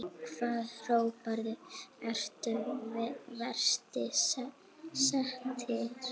Hvaða hópar eru verst settir?